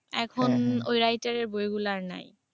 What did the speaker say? এখন ঐ writer এর বইগুলা আর নাই।